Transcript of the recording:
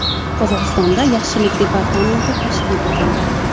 Qozog‘istonda yaxshilik departamenti tashkil etildi.